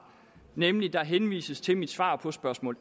nemlig der henvises til mit svar på spørgsmål